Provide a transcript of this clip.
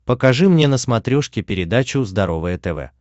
покажи мне на смотрешке передачу здоровое тв